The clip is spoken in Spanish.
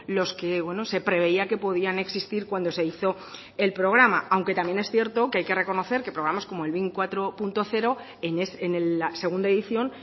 los que se preveía que podían existir cuando se hizo el programa aunque también es cierto que hay que reconocer que probamos como el bin cuatro punto cero en la segunda edición